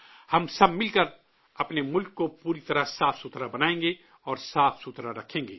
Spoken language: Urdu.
ہم سب مل کر اپنے ملک کو پوری طرح صاف بنائیں گے اور صاف رکھیں گے